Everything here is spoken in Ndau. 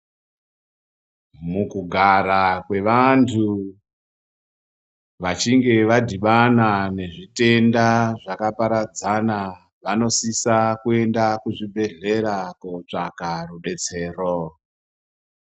Mukugara kwevantu vachinga vadhibana nezvitenda zvakaparadzana. Vanosisa kuenda kuzvibhedhlera kotsvaka rubetsero.